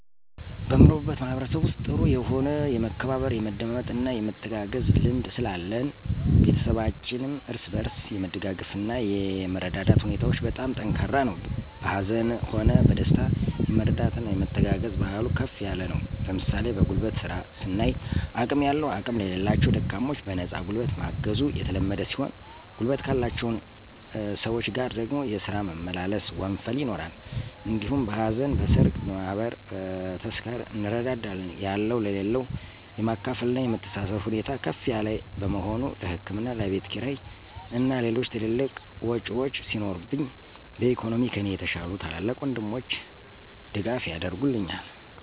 በምኖርበት ማህበረሰብ ውስጥ ጥሩ የሆነ የመከባበር፣ የመደማመጥና የመተጋገዝ ልምድ ስላለን ቤተሰባችንም እርስ በርስ የመደጋገፍና እና የመረዳዳት ሁኔታዎች በጣም ጠንካራ ነው። በሀዘንም ሆነ በደስታ የመረዳዳትና የመተጋገዝ ባህሉ ከፍ ያለ ነው ለምሣሌ በጉልበት ስራ ስናይ አቅም ያለው አቅም ለሌላቸው ደካሞች በነፃ ጉልበት ማገዙ የተለመደ ሲሆን ጉልበት ካላቸውን ሰወች ጋር ደግሞ የስራ መመላለስ (ወንፈል) ይኖራል። እንዲሁም በሀዘን: በሠርግ: በማህበር: በተስካር እንረዳዳለን። ያለው ለሌለው የማካፈልና የመተሳሰብብ ሁኔታ ከፍ ያለ በመሆኑ ለህክምና ለቤትክራይ እና ሌሎች ትልልቅ ዎጮች ሲኖሩብኝ በኢኮኖሚ ከኔ የተሻሉ ታላላቅ ወንድሞቸ ድጋፍ ያረጉልኛል።